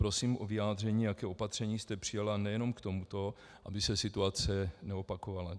Prosím o vyjádření, jaké opatření jste přijala nejen k tomuto, aby se situace neopakovala.